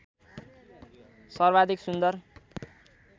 सर्वाधिक सुन्दर